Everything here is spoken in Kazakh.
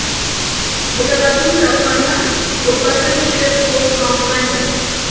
отағасының тапқаны отбасы мүшелерін толық қамтымайды